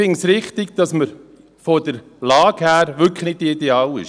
Ich finde es richtig, weil man von der Lage her wirklich nicht ideal ist.